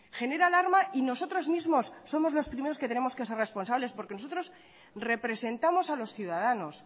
genera alarma y nosotros mismos somos los primeros que tenemos que ser responsables porque nosotros representamos a los ciudadanos